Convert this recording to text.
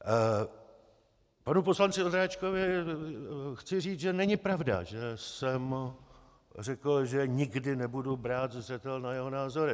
Panu poslanci Ondráčkovi chci říci, že není pravda, že jsem řekl, že nikdy nebudu brát zřetel na jeho názory.